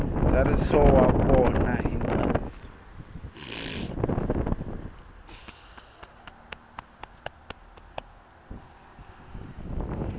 ntsariso wa vona hi ntsariso